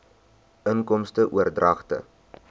inkomste oordragte